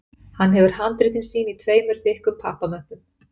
Hann hefur handritin sín í tveimur þykkum pappamöppum